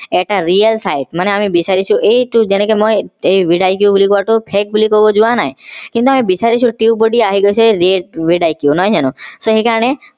এটা real মানে আমি বিছাৰিছো এইটো যেনেকে মই এই vidiq বুলি কোৱা টোক fake বুলি কব যোৱা নাই কিন্তু আমি বিছাৰিছো tubebuddy আহি গৈছে নহয় জানো so সেইকাৰণে